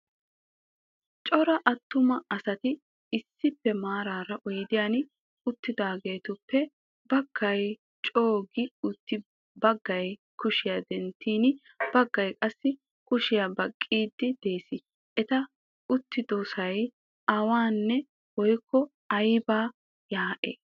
Cora attuma asati issippe maarara oydiyan uttidaageetuppe baggay coo"u gi uttis bagga kushiyaa denttin baggay qassi kushiyaa baqqiiddi de'ees. Eta uttidosay awaane woykko aybaa yaa"ay?